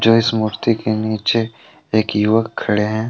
इस मूर्ति के नीचे एक युवक खड़े हैं।